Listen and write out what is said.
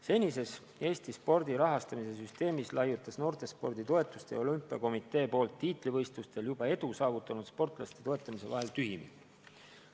Senises Eesti spordi rahastamise süsteemis laiutas noortespordi toetamise ja olümpiakomitee poolt tiitlivõistlustel juba edu saavutanud sportlaste toetamise vahel tühimik.